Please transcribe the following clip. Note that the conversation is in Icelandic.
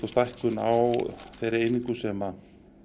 stækkun á þeirri einingu sem